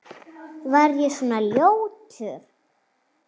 Var ég svona ljótur?